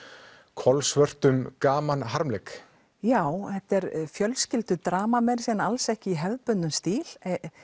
kolsvörtum gamanharmleik já þetta er fjölskyldudrama en alls ekki í hefðbundnum stíl